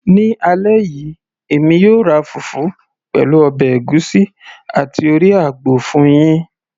ní alẹ́ yìí, èmi yóò ra fùfú, pẹ̀lú ọbẹ̀ ègúsí àti orí àgbò fún yín